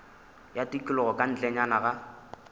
ya tikologo ka ntlenyana ga